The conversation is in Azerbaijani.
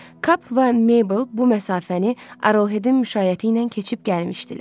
Kap və Mabel bu məsafəni Arohedin müşayiəti ilə keçib gəlmişdilər.